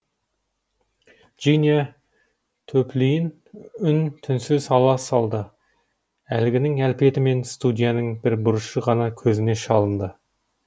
джиния төплиін үн түнсіз ала салды әлгінің әлпеті мен студияның бір бұрышы ғана көзіне шалынды